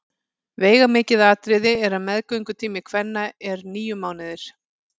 Veigamikið atriði er að meðgöngutími kvenna er níu mánuðir.